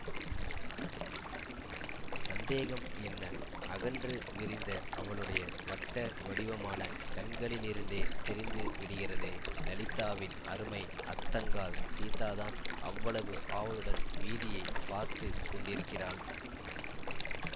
சந்தேகம் என்ன அகன்று விரிந்த அவளுடைய வட்ட வடிவமான கண்களிலிருந்தே தெரிந்து விடுகிறதே லலிதாவின் அருமை அத்தங்காள் சீதாதான் அவ்வளவு ஆவலுடன் வீதியைப் பார்த்து கொண்டிருக்கிறாள்